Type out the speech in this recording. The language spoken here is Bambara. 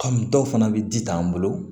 dɔw fana bɛ ji t'an bolo